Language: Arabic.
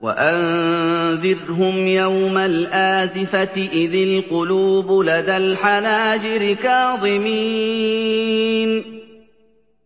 وَأَنذِرْهُمْ يَوْمَ الْآزِفَةِ إِذِ الْقُلُوبُ لَدَى الْحَنَاجِرِ كَاظِمِينَ ۚ